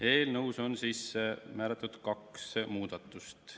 Eelnõus on ette nähtud kaks muudatust.